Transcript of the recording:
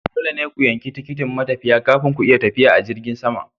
Dole ne ku yanki tikitin matafiya kafin ku iya tafiya a jirgin sama.